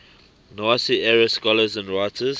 nazi era scholars and writers